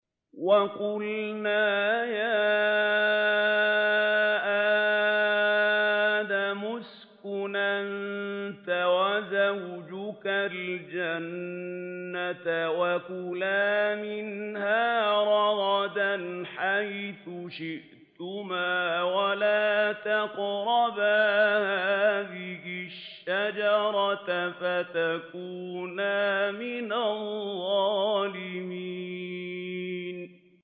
وَقُلْنَا يَا آدَمُ اسْكُنْ أَنتَ وَزَوْجُكَ الْجَنَّةَ وَكُلَا مِنْهَا رَغَدًا حَيْثُ شِئْتُمَا وَلَا تَقْرَبَا هَٰذِهِ الشَّجَرَةَ فَتَكُونَا مِنَ الظَّالِمِينَ